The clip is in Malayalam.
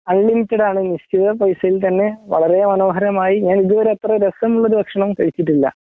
അൺലിമിറ്റഡ് ആണ് നിശ്ചിയ പൈസയില് തന്നെ വളരേ മനോഹരമായി ഞാനിതുവരെ ഇത്രരസമുള്ളൊരു ഭക്ഷണം കഴിച്ചിട്ടില്ലാ